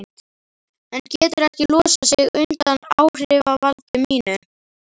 Hann getur ekki losað sig undan áhrifavaldi mínu.